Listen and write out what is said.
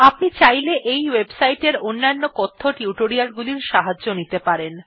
আপনি চাইলে এই ওয়েবসাইট এর অন্যান্য টিউটোরিয়াল গুলির সাহায্য নিতে পারেন